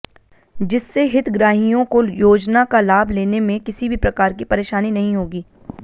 जिससे हितग्राहियों को योजना का लाभ लेने में किसी भी प्रकार की परेशानी नहीं होगी